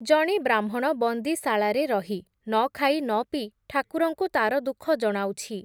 ଜଣେ ବ୍ରାହ୍ମଣ ବନ୍ଦୀଶାଳାରେ ରହି, ନଖାଇ ନପିଇ, ଠାକୁରଙ୍କୁ ତା’ର ଦୁଃଖ ଜଣାଉଛି ।